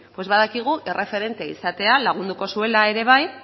badakigu erreferente izatea lagunduko zuela ere bai